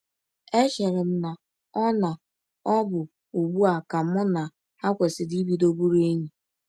Echere m na ọ na ọ bụ ụgbụ a ka mụ na ha kwesịrị ibido bụrụ enyi. ”